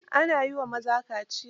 Ana yi wa maza kaciya